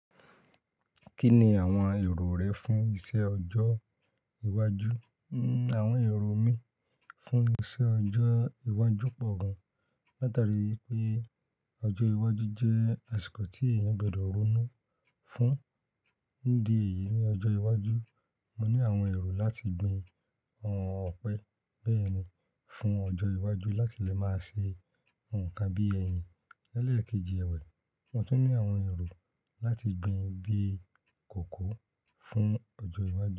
Kí ni àwọn èrò rẹ fún iṣẹ ọjọ́ iwájú? Awọn ẹrọ mí fún iṣẹ ọjọ iwájú pọ̀ gan, látari wípé ọjọ́ iwájú jẹ́ asiko tí èèyàn gbọdọ ronú fún. Nídi èyí, ní ọjọ́ iwájú mo ní àwọn èrò láti gbin ọ̀pẹ, bẹ́ẹ̀ni, fún ọjọ́ iwájú láti lè máa ṣe nkan bí ẹyin, lẹ́lẹ̀ kejì èwà. Mo tún ní àwọn èrò láti gbin bíi kòkó fún ọjọ́ iwájú.